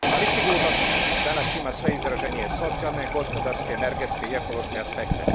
Ali sigurnost danas ima sve izraženije socijalne, gospodarske, energetske i ekološke aspekte.